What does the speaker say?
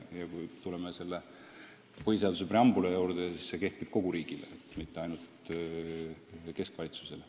Ja kui me tuleme põhiseaduse preambuli juurde, siis see kehtib kogu riigile, mitte ainult keskvalitsusele.